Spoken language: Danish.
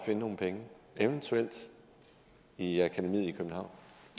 nogle penge eventuelt i akademiet i københavn